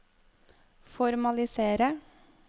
formalisere